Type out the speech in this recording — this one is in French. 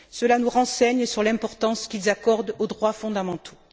Cela nous renseigne sur l'importance qu'ils accordent aux droits fondamentaux.